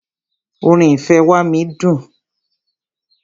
Orin "ìfẹ́ wá mí" dùn.